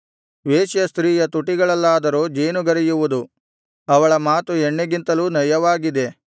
ವೇಶ್ಯಸ್ತ್ರೀಯ ತುಟಿಗಳಲ್ಲಾದರೋ ಜೇನುಗರೆಯುವುದು ಅವಳ ಮಾತು ಎಣ್ಣೆಗಿಂತಲೂ ನಯವಾಗಿದೆ